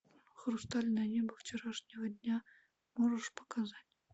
хрустальное небо вчерашнего дня можешь показать